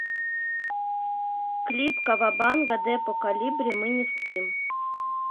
клип кавабанга депо колибри мы не спим